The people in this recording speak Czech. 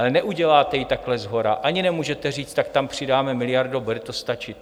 Ale neuděláte ji takhle shora, ani nemůžete říct: Tak tam přidáme miliardu a bude to stačit.